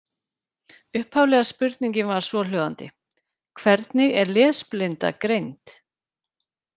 Upphaflega spurningin var svohljóðandi: Hvernig er lesblinda greind?